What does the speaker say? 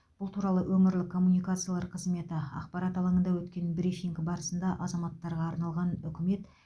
бұл туралы өңірлік коммуникацияар қызметі ақпарат алаңында өткен брифинг барысында азаматтарға арналған үкімет